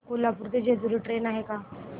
कोल्हापूर ते जेजुरी ट्रेन आहे का